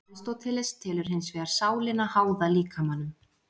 Aristóteles telur hins vegar sálina háða líkamanum.